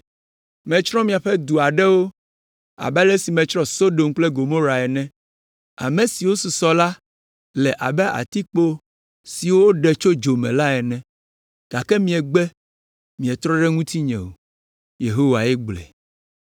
“Metsrɔ̃ miaƒe du aɖewo abe ale si metsrɔ̃ Sodom kple Gomorae ene; ame siwo susɔ la le abe atikpo si woɖe tso dzo me la ene, gake miegbe, mietrɔ ɖe ŋutinye o.” Yehowae gblɔe.